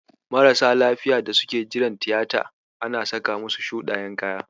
Marasa lafiyar da suke jiran tiyata ana saka musu shuɗayen kaya.